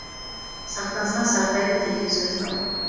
сақтансаң сақтайды деген сөз бар